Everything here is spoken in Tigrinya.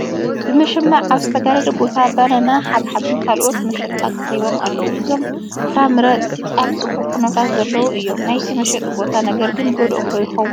ብመሸማዕ ኣብ ዝተጋረደ ቦታ በነና፣ ሓብሓብን ካልኦትን መሸጣ ቀሪቦም ኣለዉ፡፡ እዞም ፍረምረ ኣብ ፅቡቕ ኩነታት ዘለዉ እዮም፡፡ ናይቲ መሸጢ ቦታ ነገር ግን ይጐድኦም ዶ ይኸውን?